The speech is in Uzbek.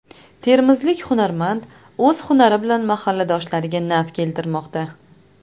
Termizlik hunarmand o‘z hunari bilan mahalladoshlariga naf keltirmoqda.